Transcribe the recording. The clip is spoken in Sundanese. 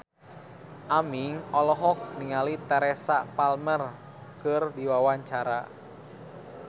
Aming olohok ningali Teresa Palmer keur diwawancara